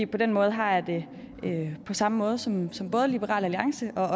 på den måde har jeg det på samme måde som liberal alliance og